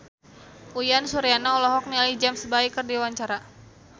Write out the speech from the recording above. Uyan Suryana olohok ningali James Bay keur diwawancara